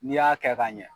N'i y'a kɛ ka ɲɛ